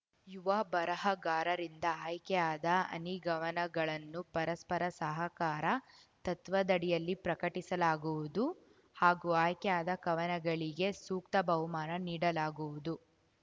ಯುವ ಬರಹಗಾರರಿಂದ ಆಯ್ಕೆಯಾದ ಹನಿಗವನಗಳನ್ನು ಪರಸ್ಪರ ಸಹಕಾರ ತತ್ವದಡಿಯಲ್ಲಿ ಪ್ರಕಟಿಸಲಾಗುವುದು ಹಾಗೂ ಆಯ್ಕೆಯಾದ ಕವನಗಳಿಗೆ ಸೂಕ್ತ ಬಹುಮಾನ ನೀಡಲಾಗುವುದು